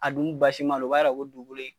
A dun basi ma don, o b'a yia ko dugukolo in